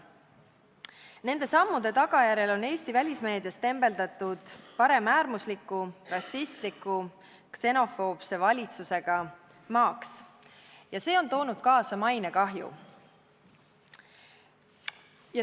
Nende sammude tagajärjel on Eesti välismeedias tembeldatud paremäärmusliku, rassistliku ja ksenofoobse valitsusega maaks ning see on toonud kaasa mainekahju.